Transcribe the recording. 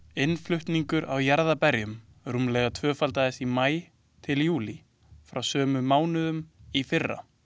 Innflutningur á jarðarberjum rúmlega tvöfaldaðist í maí til júlí frá sömu mánuðum í fyrra.